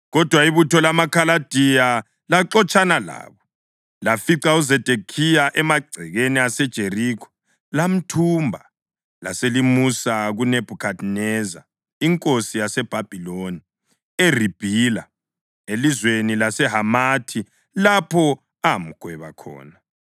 Kodwa ibutho lamaKhaladiya laxotshana labo, lafica uZedekhiya emagcekeni aseJerikho. Lamthumba, laselimusa kuNebhukhadineza inkosi yaseBhabhiloni eRibhila, elizweni laseHamathi, lapho amgweba khona.